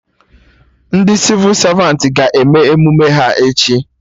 Ndị Sịvụ Savantị ga-eme emume ha echi